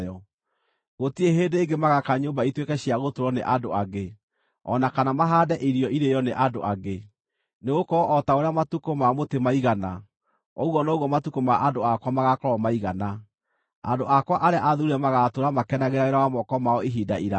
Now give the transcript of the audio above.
Gũtirĩ hĩndĩ ĩngĩ magaaka nyũmba ituĩke cia gũtũũrwo nĩ andũ angĩ, o na kana mahaande irio irĩĩo nĩ andũ angĩ. Nĩgũkorwo o ta ũrĩa matukũ ma mũtĩ maigana, ũguo noguo matukũ ma andũ akwa magaakorwo maigana; andũ akwa arĩa athuure magaatũũra makenagĩra wĩra wa moko mao ihinda iraaya.